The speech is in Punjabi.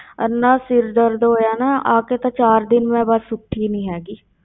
ਇੰਨਾ ਸਿਰ ਦਰਦ ਹੋਇਆ ਨਾ, ਆ ਕੇ ਤਾਂ ਚਾਰ ਦਿਨ ਮੈਂ ਬਸ ਉੱਠੀ ਨੀ ਹੈਗੀ।